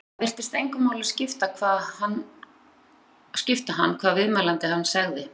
Það virtist engu máli skipta hann hvað viðmælandi hans segði.